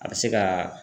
A bɛ se ka